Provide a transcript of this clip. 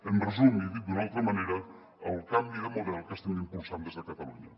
en resum i dit d’una altra manera el canvi de model que estem impulsant des de catalunya